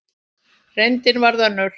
Reyndin varð önnur.